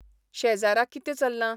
शेजारा कितें चल्लां?